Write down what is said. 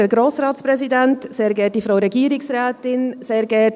Kommissionssprecherin der JuKo-Minderheit.